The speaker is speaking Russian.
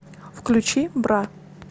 включи бра